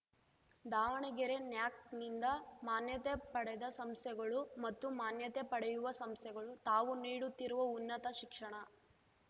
ದಾವಣಗೆರೆ ನ್ಯಾಕ್‌ನಿಂದ ಮಾನ್ಯತೆ ಪಡೆದ ಸಂಸ್ಥೆಗಳು ಮತ್ತು ಮಾನ್ಯತೆ ಪಡೆಯುವ ಸಂಸ್ಥೆಗಳು ತಾವು ನೀಡುತ್ತಿರುವ ಉನ್ನತ ಶಿಕ್ಷಣ